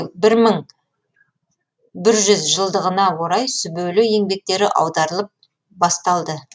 бір мың бір жүз жылдығына орай сүбелі еңбектері аударылып басталды